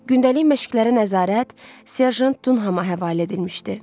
Gündəlik məşqlərə nəzarət serjant Dunhama həvalə edilmişdi.